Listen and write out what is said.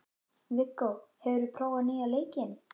Viggó, hefur þú prófað nýja leikinn?